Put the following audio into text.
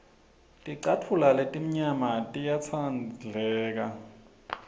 ticatfulo letimnyama tiyatsandleka